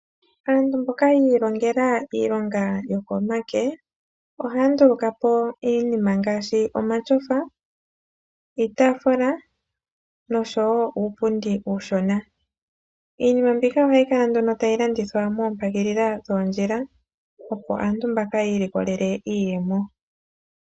Aantu mboka ya ilongela iilonga yokomake ohaya ndulukapo iinima ngaashi omatyofa, iitaafula nosho wo uupundi uushona. Iinima mbika ohayi kala nduno tayi landithwa moompagilili dhoondjila opo aantu mbaka yi ilikolele iiyemo.